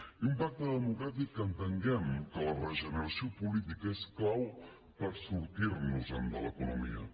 i un pacte democràtic amb què entenguem que la regeneració política és clau per sortir nos en de l’economia